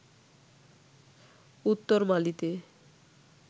উত্তর মালিতে